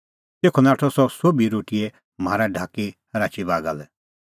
तेखअ नाठअ सह तेभी रोटीए म्हारा ढाकी राची बागा लै